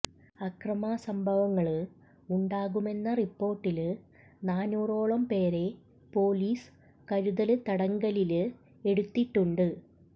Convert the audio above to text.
അക്രമസംഭവങ്ങള് ഉണ്ടാകുമെന്ന റിപ്പോര്ട്ടില് നാനൂറോളം പേരെ പൊലീസ് കരുതല് തടങ്കലില് എടുത്തിട്ടുണ്ട്